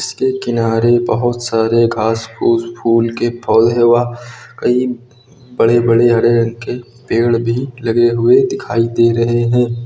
के किनारे बहोत सारे घास फूस फूल के पौधे व कई बड़े बड़े हरे रंग के पेड़ भी लगे हुए दिखाई दे रहे हैं।